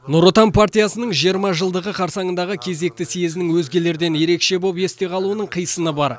нұр отан партиясының жиырма жылдығы қарсаңындағы кезекті съезінің өзгелерден ерекше болып есте қалуының қисыны бар